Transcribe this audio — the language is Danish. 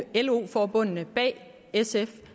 i lo forbundene bag sf